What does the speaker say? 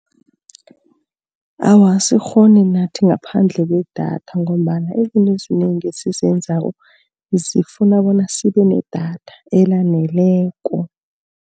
Awa, asikghoni nathi ngaphandle kwedatha ngombana izinto ezinengi esizenzako, zifuna bona sibe nedatha elaneleko.